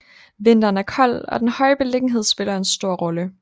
Vinteren er kold og den høje beliggenhed spiller en stor rolle